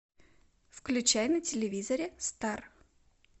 включай на телевизоре стар